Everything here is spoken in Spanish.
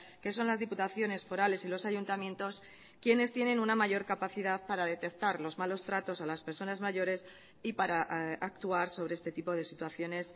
que son las diputaciones forales y los ayuntamientos quienes tienen una mayor capacidad para detectar los malos tratos a las personas mayores y para actuar sobre este tipo de situaciones